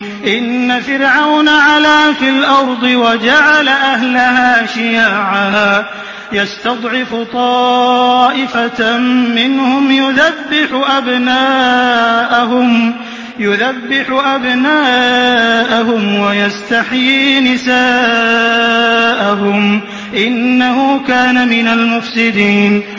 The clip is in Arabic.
إِنَّ فِرْعَوْنَ عَلَا فِي الْأَرْضِ وَجَعَلَ أَهْلَهَا شِيَعًا يَسْتَضْعِفُ طَائِفَةً مِّنْهُمْ يُذَبِّحُ أَبْنَاءَهُمْ وَيَسْتَحْيِي نِسَاءَهُمْ ۚ إِنَّهُ كَانَ مِنَ الْمُفْسِدِينَ